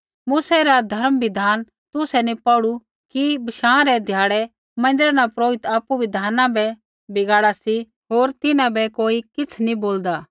मूसै रा धर्म बिधाना तुसै नी पौढ़ू कि बशाँ रै ध्याड़ै मन्दिरा न पुरोहित आपु बिधाना बै बगाड़ा सी होर तिन्हां बै कोई किछ़ नी बोलदा